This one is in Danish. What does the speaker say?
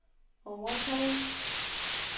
overtage